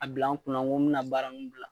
A bila n kun na ko n bi na baara nuw bila